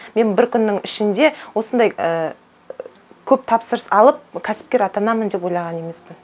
мен бір күннің ішінде осындай көп тапсырыс алып кәсіпкер атанамын деп ойлаған емеспін